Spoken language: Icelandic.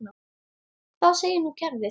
Hvað segir nú kerfið?